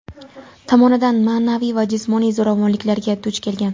tomonidan ma’naviy va jismoniy zo‘ravonliklarga duch kelgan.